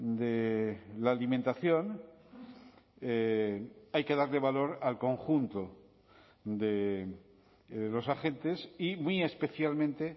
de la alimentación hay que darle valor al conjunto de los agentes y muy especialmente